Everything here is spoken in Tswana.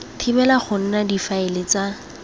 thibela go nna difaele tsa